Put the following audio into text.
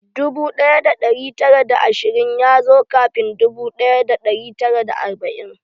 Dubu ɗaya da ɗari tara da ashirin ya zo kafin dubu ɗaya da ɗari tara da arba'in.